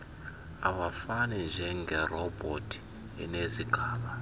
awafani njengerobhothi enezigaba